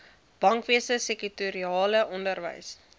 bankwese sektorale onderwys